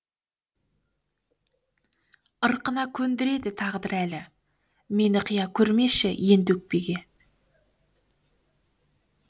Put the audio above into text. ырқына көндіреді тағдыр әлі мені қия көрмеші енді өкпеге